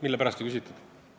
Mille pärast nüüd ei küsitud?